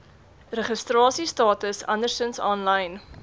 registrasiestatus andersins aanlyn